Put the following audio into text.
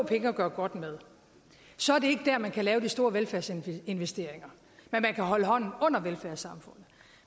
penge at gøre godt med så er det ikke dér man kan lave de store velfærdsinvesteringer men man kan holde hånden under velfærdssamfundet